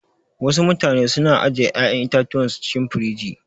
Wasu mutane su na ajiye ƴa'yan itatuwan su cikin firij.